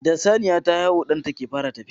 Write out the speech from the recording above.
Da Saniya ta haihu ɗan take fara tafiya